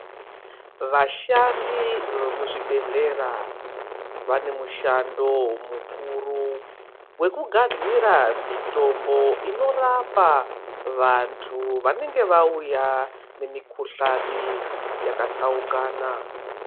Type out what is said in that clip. Vashandi vemuzvibhedhlera vane mushando mukuru wekugadzira mutombo inorapa vantu vanenge vauya nemikhuhlani yakatsaukana .